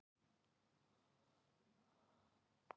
Ragnheiður kyngir öðrum smók.